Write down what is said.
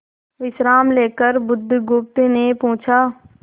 विश्राम लेकर बुधगुप्त ने पूछा